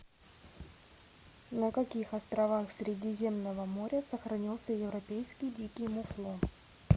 на каких островах средиземного моря сохранился европейский дикий муфлон